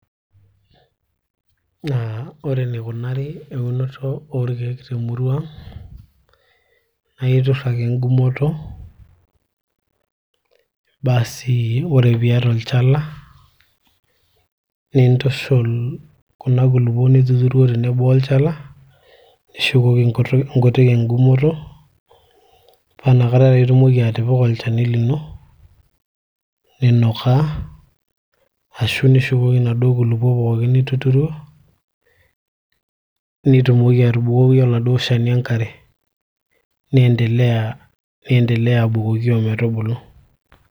aa ore enikunari eunoto orkeek temurua ang naa iturr ake engumoto basi ore piata olchala nintushul kuna kulupuok nituturuo tenebo olchala nishukoki inkutik engumoto paa inakata taa itumoki atipika olchani lino ninukaa ashu nishukoki inaduo kulupuok pookin nituturuo nitumoki arubukoki oladuo shani enkare ni endelea abukoki ometubulu.